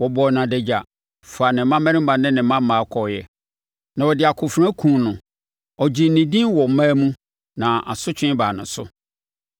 Wɔbɔɔ no adagya, faa ne mmammarima ne ne mmammaa kɔeɛ, na wɔde akofena kumm no. Ɔgyee ne din wɔ mmaa mu na asotwe baa no so.